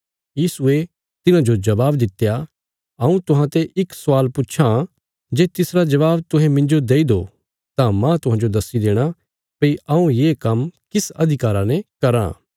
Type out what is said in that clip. यीशुये तिन्हाजो जबाब दित्या हऊँ तुहांते इक स्वाल पुच्छां जे तिसरा जबाब तुहें मिन्जो देई दो तां माह तुहांजो दस्सी देणा भई हऊँ ये काम्म किस अधिकारा ने कराँ